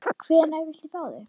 Hvenær viltu fá þau?